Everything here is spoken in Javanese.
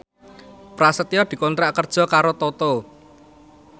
Prasetyo dikontrak kerja karo Toto